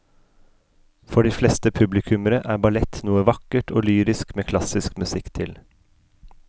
For de fleste publikummere er ballett noe vakkert og lyrisk med klassisk musikk til.